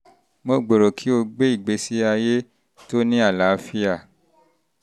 mo gbèrò kí o gbé ìgbésí ayé tó ní àlàáfíà